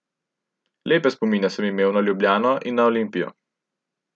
Lepe spomine sem imel na Ljubljano in na Olimpijo.